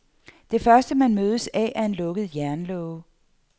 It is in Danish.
Det første, man mødes af, er en lukket jernlåge.